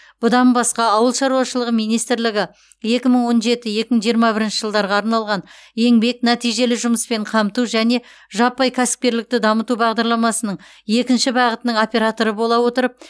бұдан басқа ауыл шаруашылығы министрлігі екі мың он жеті екі мың жиырма бірінші жылдарға арналған еңбек нәтижелі жұмыспен өамту және жаппай кәсіпкерлікті дамыту бағдарламасының екінші бағытының операторы бола отырып